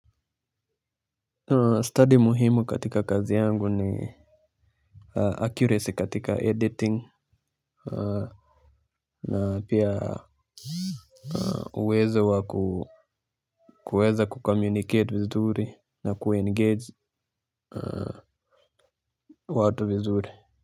Study muhimu katika kazi yangu ni Accuracy katika editing. Na pia uwezo wa kuweza kucommunicate vizuri na kuengage watu vizuri.